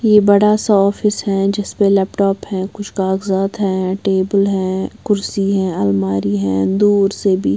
ये बड़ा सा ऑफिस है जिसपे लैपटॉप है कुछ कागजात हैं टेबल हैं कुर्सी हैं अलमारी हैं दूर से भी--